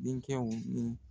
Denkɛw ni.